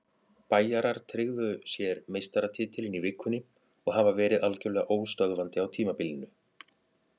Bæjarar tryggðu sér meistaratitilinn í vikunni og hafa verið algjörlega óstöðvandi á tímabilinu.